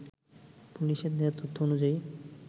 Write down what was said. পুলিশের দেয়া তথ্য অনুযায়ী